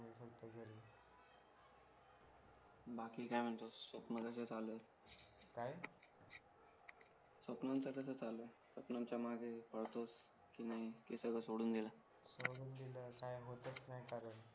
बाकी काय म्हणतोस मग सपनम कस चालूय काय सपनम च कस चालू आहे सपनमचा माग पळतोस कि नाही कि सगळं सोडून दिल सोडून दिले काही होताच नाही कारण